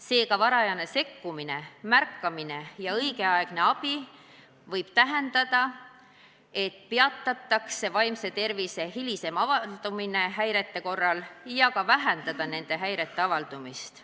Seega võib varajane sekkumine, märkamine ja õigeaegne abi tähendada, et peatatakse vaimse tervise häire hilisem avaldumine ja vähendatakse nende häirete avaldumist.